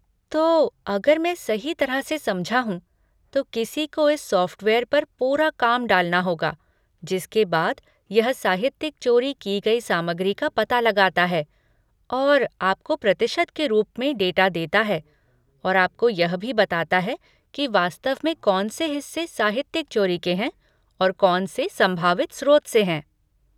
तो, अगर मैं सही तरह से समझा हूँ, तो किसी को इस सॉफ़्टवेयर पर पूरा काम डालना होगा, जिसके बाद यह साहित्यिक चोरी की गई सामग्री का पता लगाता है और आपको प्रतिशत के रूप में डेटा देता है और आपको यह भी बताता है कि वास्तव में कौन से हिस्से साहित्यिक चोरी के हैं और कौन से संभावित स्रोत से हैं।